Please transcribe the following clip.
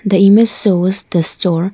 the image shows the store.